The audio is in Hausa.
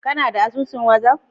Kana da asusun wazaf?